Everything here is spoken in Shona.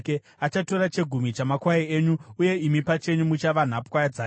Achatora chegumi chamakwai enyu, uye imi pachenyu muchava nhapwa dzake.